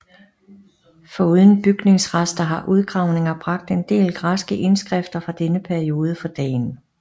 Foruden bygningsrester har udgravninger bragt en del græske indskrifter fra denne periode for dagen